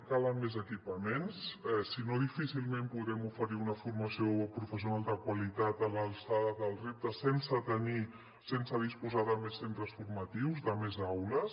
calen més equipaments si no difícilment podrem oferir una formació professional de qualitat a l’alçada del repte sense tenir sense disposar de més centres formatius de més aules